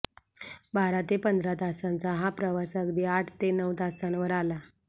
बारा ते पंधरा तासांचा हा प्रवास अगदी आठ ते नऊ तासांवर आला